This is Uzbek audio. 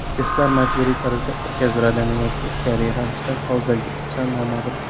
Testlar majburiy tarzda o‘tkaziladimi yoki ixtiyoriy ravishda, hozircha noma’lum.